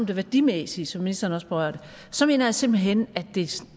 det værdimæssige som ministeren også berørte så mener jeg simpelt hen at det